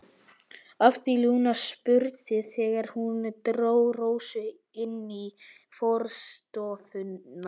hafði Lúna spurt þegar hún dró Rósu inn í forstofuna.